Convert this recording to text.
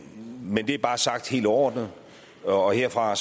men det er bare sagt helt overordnet og herfra er